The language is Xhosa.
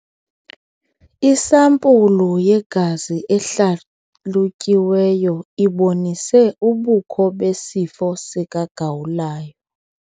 Isampulu yegazi ehlalutyiweyo ibonise ubukho besifo sikagawulayo.